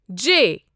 J